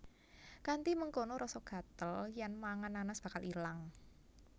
Kanthi mengkono rasa gatel yèn mangan nanas bakal ilang